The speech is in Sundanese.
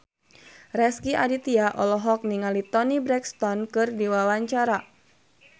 Rezky Aditya olohok ningali Toni Brexton keur diwawancara